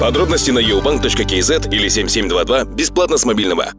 подробности на ио банк точка кз или семь семь два два бесплатно с мобильного